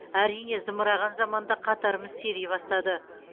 әрине зымыраған заманда қатарымыз сирей бастады